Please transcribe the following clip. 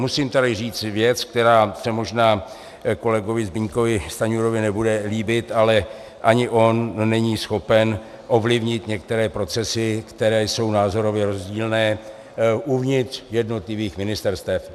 Musím tady říci věc, která se možná kolegovi Zbyňkovi Stanjurovi nebude líbit, ale ani on není schopen ovlivnit některé procesy, které jsou názorově rozdílné uvnitř jednotlivých ministerstev.